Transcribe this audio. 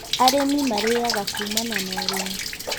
Arĩmi marĩaga kumana na ũrĩmi